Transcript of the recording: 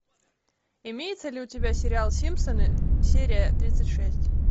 имеется ли у тебя сериал симпсоны серия тридцать шесть